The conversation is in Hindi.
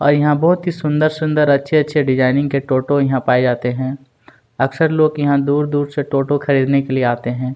और यहाँ बहुत ही सुंदर-सुंदर अच्छे-अच्छे डिजाइनिंग के टोटो यहाँ पाए जाते हैं अक्सर लोग यहाँ दूर-दूर से टोटो खरीदने के लिए आते हैं।